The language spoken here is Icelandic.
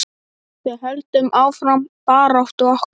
Við höldum áfram baráttu okkar.